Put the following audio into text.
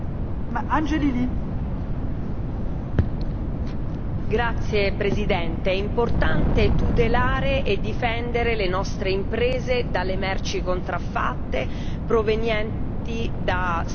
È importante tutelare e difendere le nostre imprese dalle merci contraffatte provenienti da Stati terzi, anche se queste sono solo in transito sul territorio europeo.